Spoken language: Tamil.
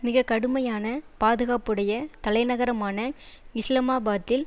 மிக கடுமையான பாதுகாப்புடைய தலைநகரமான இஸ்லமாபாத்தில்